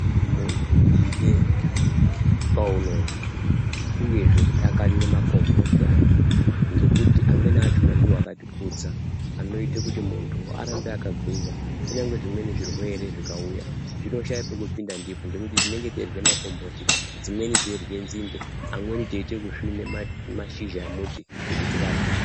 Muntu ide kwaunobva uyezve zveidakarire makomboti ako. Ngekuti amweni achona ndivo akatikudza anoite kuti muntu arambe akagwinya. Kunyangwe zvimweni zvirwere zvikauya zvinoshaya pekupinda ndipo tinenge teirye makomboti dzimweni teirye nzinde. Amweni teiite kusvina mashizha emuti kuti tirarame.